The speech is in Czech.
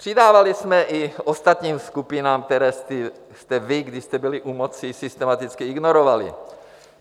Přidávali jsme i ostatním skupinám, které jste vy, když jste byli u moci, systematicky ignorovali.